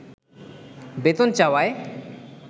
বেতন চাওয়ায়